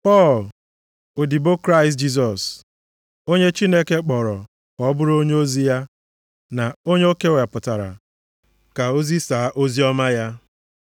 Pọl, odibo Kraịst Jisọs, onye Chineke kpọrọ ka ọ bụrụ onyeozi ya na onye o kewapụtara ka o zisaa oziọma ya.